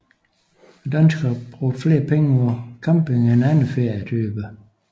Danskerne brugte flere penge på camping end andre ferietyper